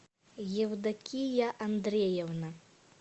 евдокия андреевна